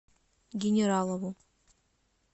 генералову